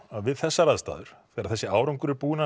að við þessar aðstæður þegar þessi árangur er búinn að